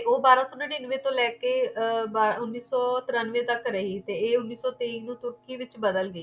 ਉਹ ਬਾਰਾਂ ਸੋ ਨੜਿੱਨਵੇਂ ਤੋਂ ਲੈ ਕੇ ਉੰਨੀ ਸੋ ਤਰਿਆਵਨੇ